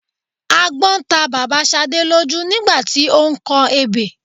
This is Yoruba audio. agbọ́n ta bàbá Ṣadé lójú nígbà tí ó ń kọ ebè